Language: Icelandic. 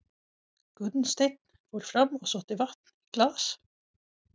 Gunnsteinn fór fram og sótti vatn í glas.